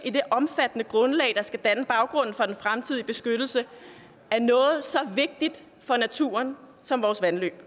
i det omfattende grundlag der skal danne baggrunden for den fremtidige beskyttelse af noget så vigtigt for naturen som vores vandløb